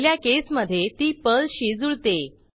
पहिल्या केसमधे ती Perlशी जुळते